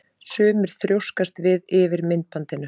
Sumir þrjóskast við yfir myndbandinu.